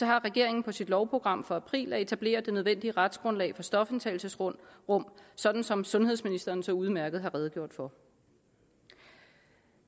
har regeringen på sit lovprogram for april at etablere det nødvendige retsgrundlag for stofindtagelsesrum sådan som sundhedsministeren så udmærket har redegjort for